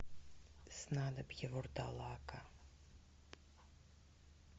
снадобье вурдалака